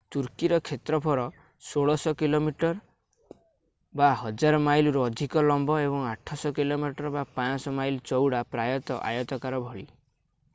ତୁର୍କୀର କ୍ଷେତ୍ରଫଳ 1,600 kilometre 1,000 mile ରୁ ଅଧିକ ଲମ୍ୱ ଏବଂ 800 କିଲୋମିଟର 500 ମାଇଲ ଚଉଡ଼ା ପ୍ରାୟତଃ ଆୟତକାର ଭଳି।